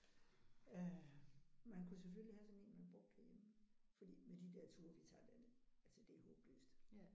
Øh man kunne selvfølgelig have sådan en man brugte herhjemme. Fordi med de der ture vi tager derned altså det er håbløst